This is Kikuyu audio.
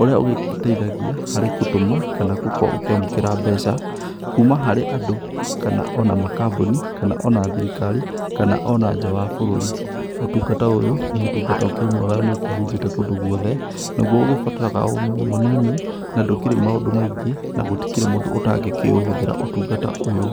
ũrĩa ũgĩteithagia harĩ gũtũma kana gũkorwo ũkĩamũkĩra mbeca, kuma harĩ andũ kana ona makambuni, kana ona thirikari, kana ona nja wa bũrũri. Ũtungata ũyũ nĩ ũtungata ũkĩrĩ mwega na nĩ ũkĩhunjĩte kũndũ guothe. Naguo ũgĩbataraga o ũmenyo mũnini na ndũkĩrĩ maũndũ maingĩ na gũtikĩrĩ mũndũ ũtangĩkĩũhũthĩra ũtungata ũyũ.